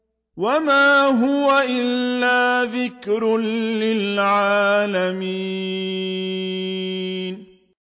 وَمَا هُوَ إِلَّا ذِكْرٌ لِّلْعَالَمِينَ